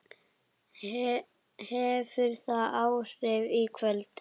Hefur það áhrif í kvöld?